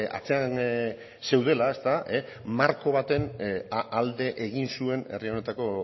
atzean zeudela marko baten alde egin zuen herri honetako